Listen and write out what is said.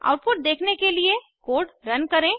output देखने के लिए कोड रन करें